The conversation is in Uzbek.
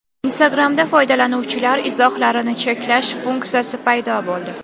Instagram’da foydalanuvchilar izohlarini cheklash funksiyasi paydo bo‘ldi.